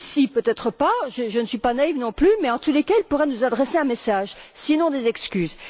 Ici, peut être pas je ne suis pas naïve non plus mais, en tous cas, il pourrait nous adresser un message, sinon des excuses.